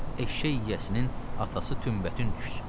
Eşşək yiyəsinin atası tümbətün düşsün.